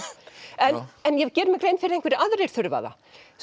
en ég geri mér grein fyrir að einhverjir aðrir þurfa það